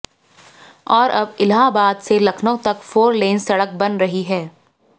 और अब इलाहाबाद से लखनऊ तक फोर लेन सड़क बन रही है